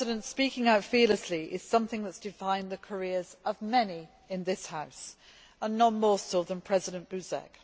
Speaking out fearlessly is something that has defined the careers of many in this House, and none more so than President Buzek.